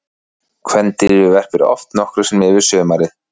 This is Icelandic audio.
Kvendýrið verpir oft nokkrum sinnum yfir sumarið.